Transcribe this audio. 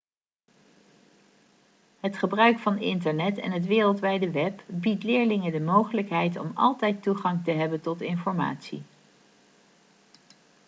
het gebruik van internet en het wereldwijde web biedt leerlingen de mogelijkheid om altijd toegang te hebben tot informatie